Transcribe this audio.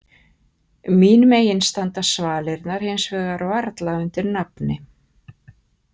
Mín megin standa svalirnar hins vegar varla undir nafni.